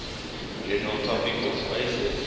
general topological spaces